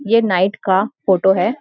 ये नाइट का फोटो है।